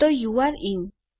તો you're in